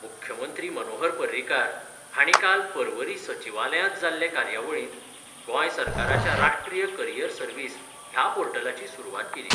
मुख्यमंत्री मनोहर पर्रीकार हांणी काल पर्वरी सचिवालयांत जाल्ले कार्यावळींत गोंय सरकाराच्या राष्ट्रीय करीयर सर्वीस ह्या पोर्टलाची सुरवात केली.